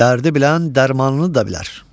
dərdi bilən dərmanını da bilər.